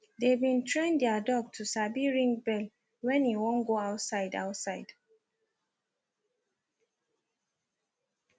they been train their dog to sabi ring bell when e wan go outside outside